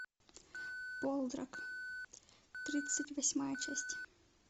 полдарк тридцать восьмая часть